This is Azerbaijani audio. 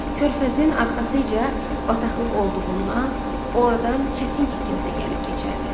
Körfəzin arxasınca bataqlıq olduğundan, ordan çətin ki kimsə gəlib keçərdi.